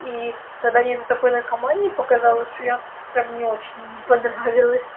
и тогда нету такой наркомании показалось что я прям не очень им понравилась